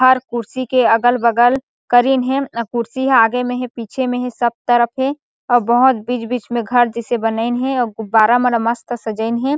हर कुर्सी के अगल-बगल करीन हे अउ कुर्सी ह आगे में हे पीछे में हे सब तरफ हे और बहोत बिच-बिच में घर जैसे बनाइन हे और गुब्बारा मन ला मस्त सजाइन हे।